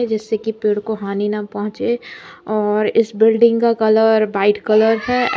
जिससे की पेड़ को हानि न पहुंचे और इस बिल्डिंग का कलर वाइट कलर है।